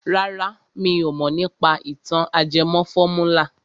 Rárá mi ò mọ̀ nípa ìtàn ajẹmọ fọ́múlà.